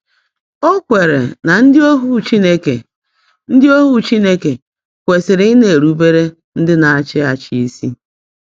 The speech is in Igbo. O kweere na ndị ohu Chineke ndị ohu Chineke kwesịrị ị na-erubere ndị na-achị achị isi.